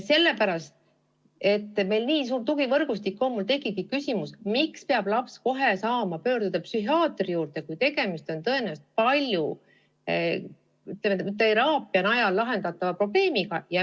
Kuna meil on nii suur tugivõrgustik, siis tekib mul küsimus, miks peab laps kohe saama pöörduda psühhiaatri poole, kui tegemist on tõenäoliselt paljuski teraapia najal lahendatava probleemiga.